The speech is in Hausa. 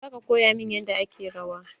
Za ka koya min yadda ake rawa?